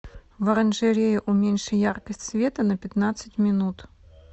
в оранжерее уменьши яркость света на пятнадцать минут